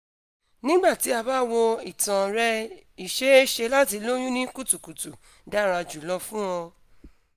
nigbati a ba wo itan rẹ iṣeeṣe lati loyun ni kutukutu dara julọ fun ọ